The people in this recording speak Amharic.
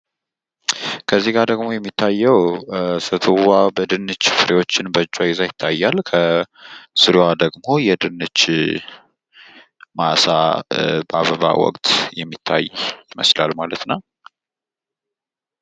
ከዚህ ጋር ደግሞ የሚታየዉ ሴትዮዋ የድንች ፍሬዎችን በእጆቿ ይዛ ያሳያል። ከስሯ ደግሞ የድንች ማሳ በአበባ ወቅት ይመስላል ማለት ነዉ።